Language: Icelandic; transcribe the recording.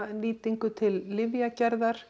nýtingu til lyfjagerðar